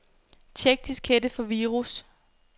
Check diskette for virus.